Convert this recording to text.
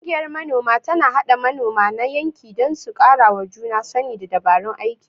Ƙungiyar Manoma tana haɗa manoma na yankin don su karawa juna sani da dabarun aiki.